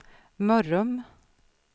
Mörrum